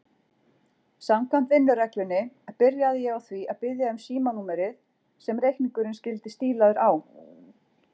Samkvæmt vinnureglunni byrjaði ég á því að biðja um símanúmerið sem reikningurinn skyldi stílaður á.